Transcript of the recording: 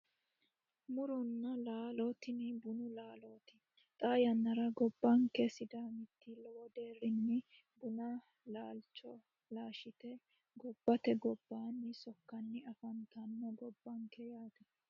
Muronna laalo tini bunu laalooti xaa yannnara gobbanke sidaamiti lowo deerrinni bunu laalcho laashshite gobbate gobbaannni sokkanni afantanno gobbanke yaate